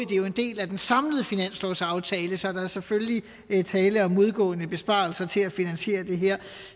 det er jo en del af den samlede finanslovsaftale så der er selvfølgelig tale om modgående besparelser til at finansiere det her